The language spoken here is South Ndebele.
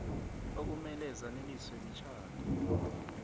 okumele zaneliswe mitjhado